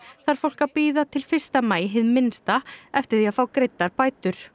þarf fólk að bíða til fyrsta maí hið minnsta eftir því að fá greiddar bætur